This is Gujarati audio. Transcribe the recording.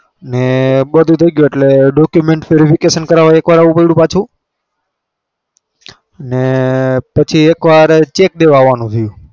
ને બધું થઇ ગયું ને એટલે document verification કરાવવા એકવાર આવવું પડ્યું પાછું ને પછી એકવાર cheque દેવા આવવાનું થયું.